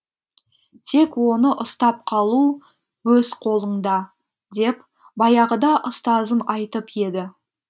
тек оны ұстап қалу өз қолыңда деп баяғыда ұстазым айтып еді